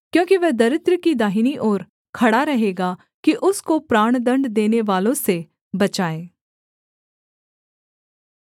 क्योंकि वह दरिद्र की दाहिनी ओर खड़ा रहेगा कि उसको प्राणदण्ड देनेवालों से बचाए